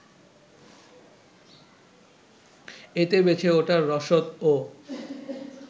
এতে বেঁচে ওঠার রসদও